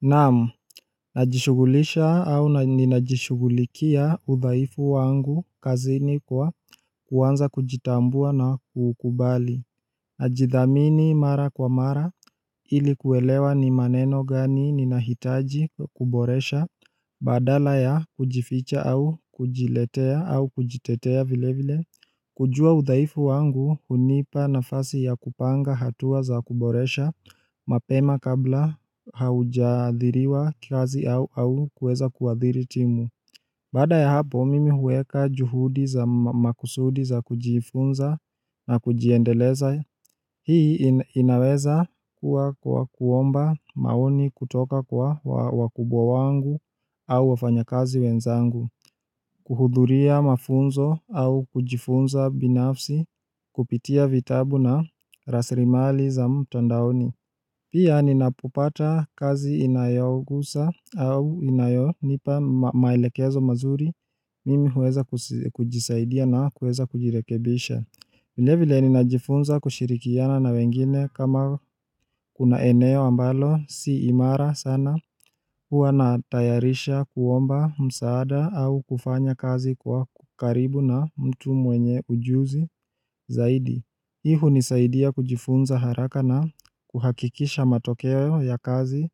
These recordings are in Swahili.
Naam, najishughulisha au ninajishugulikia udhaifu wangu kazini kwa kuwanza kujitambua na kukubali Najithamini mara kwa mara ilikuwelewa ni maneno gani ninahitaji kuboresha badala ya kujificha au kujiletea au kujitetea vile vile kujua udhaifu wangu hunipa nafasi ya kupanga hatua za kuboresha mapema kabla haujadhiriwa kazi au kuweza kuadhiri timu Baada ya hapo mimi huweka juhudi za makusudi za kujifunza na kujiendeleza Hii inaweza kuwa kuomba maoni kutoka kwa wakubwa wangu au wafanyakazi wenzangu kuhudhuria mafunzo au kujifunza binafsi kupitia vitabu na raslimali za mtandaoni. Pia ninapopata kazi inayogusa au inayonipa maelekezo mazuri mimi huweza kujisaidia na huweza kujirekebisha. Vile vile ninajifunza kushirikiana na wengine kama kuna eneo ambalo si imara sana huwa natayarisha kuomba msaada au kufanya kazi kwa karibu na mtu mwenye ujuzi zaidi. Hii hunisaidia kujifunza haraka na kuhakikisha matokeo ya kazi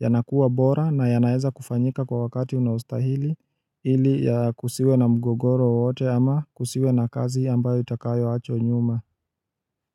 yanakuwa bora na yanaeza kufanyika kwa wakati unaostahili ili ya kusiwe na mgogoro wowote ama kusiwe na kazi ambayo itakayoachwa nyuma.